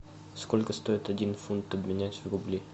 сколько стоит один фунт обменять в рубли